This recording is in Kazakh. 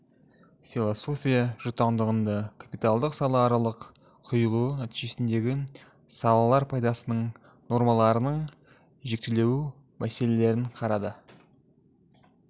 философия жұтаңдығында капиталдың сала аралық құйылуы нәтижесіндегі салалар пайдасының нормаларының жіктелу мәселелерін қарады